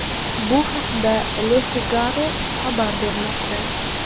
Bu haqda Le Figaro xabar bermoqda .